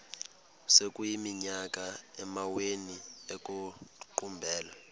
sekuyiminyaka amawenu ekuqumbele